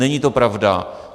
Není to pravda.